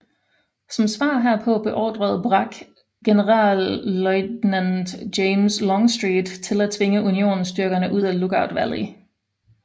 Som svar herpå beordrede Bragg generalløjtnant James Longstreet til at tvinge unionsstyrkerne ud af Lookout Valley